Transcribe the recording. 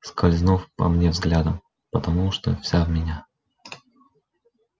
скользнув по мне взглядом потому что вся в меня